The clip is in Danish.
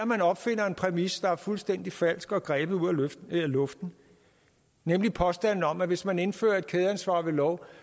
man opfinder en præmis der er fuldstændig falsk og grebet ud af luften nemlig påstanden om at hvis man indfører et kædeansvar ved lov